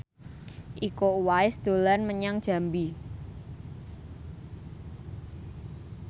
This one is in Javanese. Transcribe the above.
Iko Uwais dolan menyang Jambi